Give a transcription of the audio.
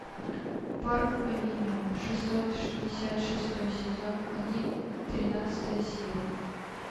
парк авеню шестьсот шестьдесят шестой сезон один тринадцатая серия